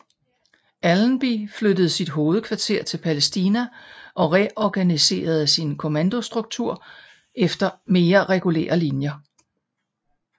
Allenby flyttede sit hovedkvarter til Palæstina og reorganiserede sin kommandostruktur efter mere regulære linjer